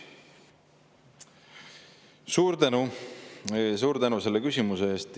Suur tänu, suur tänu selle küsimuse eest!